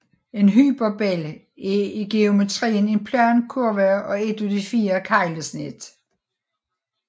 En hyperbel er i geometrien en plan kurve og et af de fire keglesnit